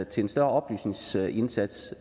til en større oplysningsindsats